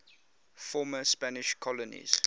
former spanish colonies